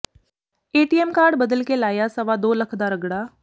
ATM card ਬਦਲ ਕੇ ਲਾਇਆ ਸਵਾ ਦੋ ਲੱਖ ਦਾ ਰਗਡ਼ਾ